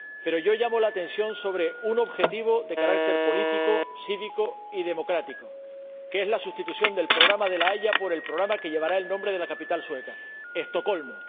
Pero yo llamo la atención sobre un objetivo de carácter político, cívico y democrático, que es la sustitución del programa de La Haya por el programa que llevará el nombre de la capital sueca Estocolmo.